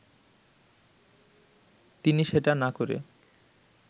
তিনি সেটা না করে